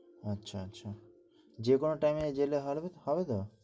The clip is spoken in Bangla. আচ্ছা আচ্ছা যে কোন time এ গেলে হবে ত